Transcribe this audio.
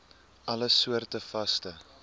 alle soorte vaste